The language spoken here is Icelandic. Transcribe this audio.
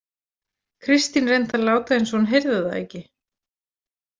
Kristín reyndi að láta eins og hún heyrði það ekki.